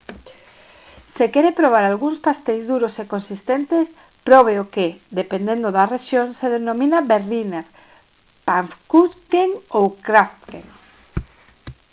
se quere probar algúns pasteis duros e consistentes probe o que dependendo da rexión se denomina berliner pfannkuchen ou krapfen